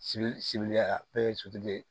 Sibiri sibiri ya bɛɛ ye sotigi ye